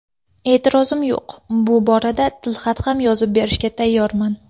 E’tirozim yo‘q, bu borada tilxat yozib ham berishga tayyorman.